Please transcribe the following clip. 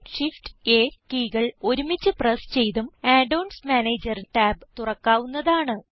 CTRLShiftA കീകൾ ഒരുമിച്ച് press ചെയ്തും add ഓൺസ് മാനേജർ ടാബ് തുറക്കാവുന്നതാണ്